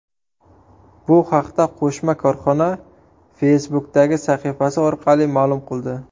Bu haqda qo‘shma korxona Facebook’dagi sahifasi orqali ma’lum qildi .